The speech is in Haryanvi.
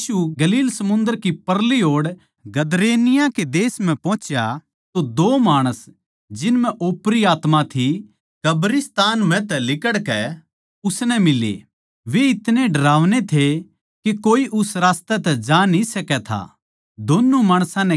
जिब यीशु गलील समुन्दर कै परली ओड़ गदरेनियां के देश म्ह पुँह्चा तो दो माणस जिन म्ह ओपरी आत्मा थी कब्रिस्तान म्ह तै लिकड़कै उसनै मिले वे इतनै डरावने थे के कोए उस रास्तै तै जा न्ही सकै था